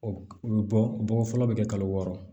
O bɔ fɔlɔ bɛ kɛ kalo wɔɔrɔ